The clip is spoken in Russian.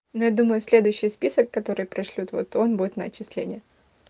но я думаю следующий список который пришлют вот он будет на отчисление